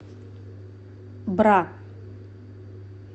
бра